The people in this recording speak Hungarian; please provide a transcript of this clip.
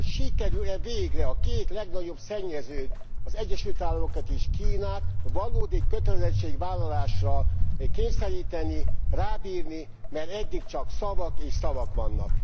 Hogy sikerül e végre a két legnagyobb szennyezőt, az Egyesült Államokat és Kínát valódi kötelezettségvállalásra kényszeríteni, rábírni, mert eddig csak szavak és szavak vannak.